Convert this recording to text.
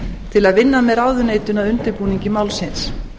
til að vinna með ráðuneytinu að undirbúningi málsins